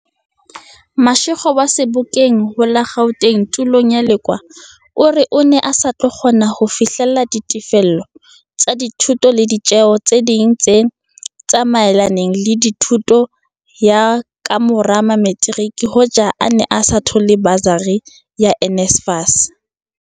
Mashego wa Sebokeng ho la Gauteng tulong ya Lekoa o re o ne a sa tlo kgona ho fihlella ditefello tsa dithuto le ditjeo tse ding tse tsa maelanang le thuto ya ka mora materiki hoja a ne a sa thola basari ya NSFAS.